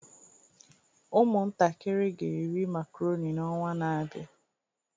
Ụmụntakịrị ga-eri makaroni n'ọnwa na-abịa